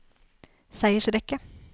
seiersrekke